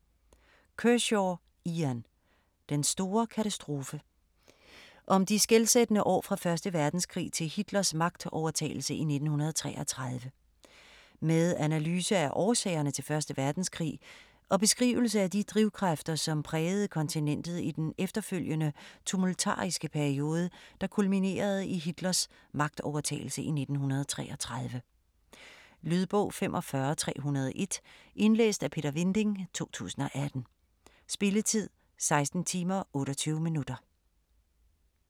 Kershaw, Ian: Den store katastrofe Om de skelsættende år fra 1. verdenskrig til Hitlers magtovertagelse i 1933. Med analyse af årsagerne til 1. verdenskrig, og beskrivelse af de drivkræfter, som prægede kontinentet i den efterfølgende tumultariske periode, der kulminerede i Hitlers magtovertagelse i 1933. Lydbog 45301 Indlæst af Peter Vinding, 2018. Spilletid: 16 timer, 28 minutter.